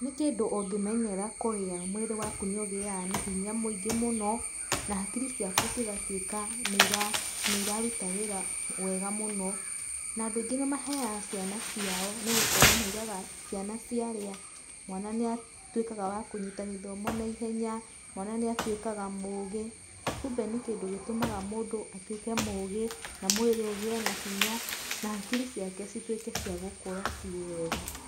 Nĩ kĩndũ ũngĩmenyera kũrĩa mwĩrĩ waku nĩ ũgĩyaga na hinya mũingĩ mũno na hakiri ciaku cigatuĩka nĩ iraruta wĩra wega mũno. Na andũ aingĩ nĩ maheyaga ciana ciao nĩgũkorwo maugaga ciana ciarĩa mwana nĩatuĩkaga wakũnyita gĩthomo na ihenya na mwana nĩatuĩkaga mũgĩ kumbe nĩ kĩndũ gĩtũmaga mũndũ atũĩke mũgĩ na mwĩrĩ ũgĩe na hinya na hakiri ciake cituĩke cia gũkũra biũ wega.